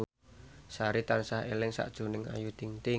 Sari tansah eling sakjroning Ayu Ting ting